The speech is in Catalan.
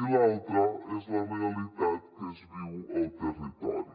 i l’altra és la realitat que es viu al territori